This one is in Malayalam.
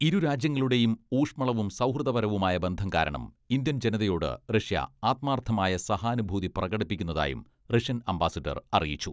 ഇരു രാജ്യങ്ങളുടെയും ഊഷ്മളവും സൗഹൃദപരവുമായ ബന്ധം കാരണം ഇന്ത്യൻ ജനതയോട് റഷ്യ ആത്മാർത്ഥമായ സഹാനുഭൂതി പ്രകടിപ്പിക്കുന്നതായും റഷ്യൻ അംബാസിഡർ അറിയിച്ചു.